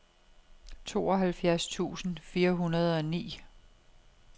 tooghalvfjerds tusind fire hundrede og ni